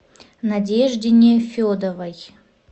надежде нефедовой